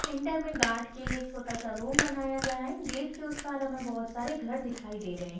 Centre में guard के लिए छोटा सा रूम बनाया गया है गेट के उस पार हमें बहुत सारे घर दिखाई दे रहे है।